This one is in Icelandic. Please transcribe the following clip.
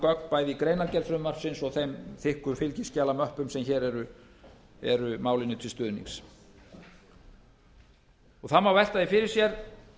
gögn bæði í greinargerð frumvarpsins og þeim þykku fylgiskjalamöppum sem hér eru málinu til stuðnings það má velta því fyrir sér